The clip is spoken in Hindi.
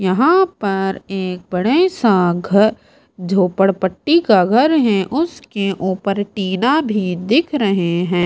यहां पर एक बड़े सा घ झोपड़पट्टी का घर है उसके ऊपर टीना भी दिख रहे हैं।